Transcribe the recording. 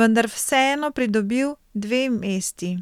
vendar vseeno pridobil dve mesti.